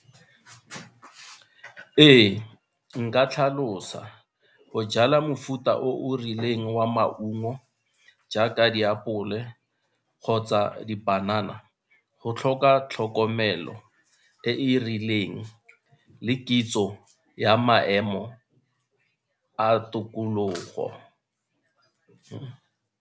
Ee, nka tlhalosa go jala mofuta o o rileng wa maungo jaaka diapole kgotsa dipanana go tlhoka tlhokomelo e e rileng le kitso ya maemo a tokologo.